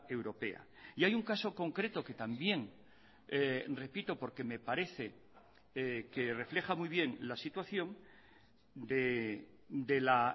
europea y hay un caso concreto que también repito porque me parece que refleja muy bien la situación de la